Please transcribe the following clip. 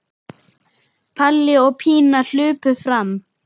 Palli og Pína hlaupa fram.